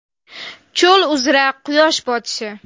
Cho‘l uzra quyosh botishi.